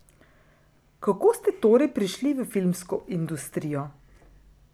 Kako ste torej prišli v filmsko industrijo?